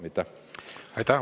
Aitäh!